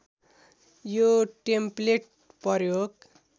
यो टेम्प्लेट प्रयोग